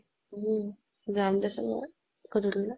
উম । যাম দে চোন বাৰু, গধূলি লে ।